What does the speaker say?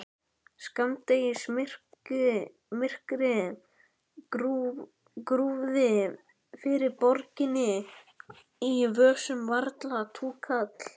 Skammdegismyrkrið grúfði yfir borginni, í vösunum varla túkall.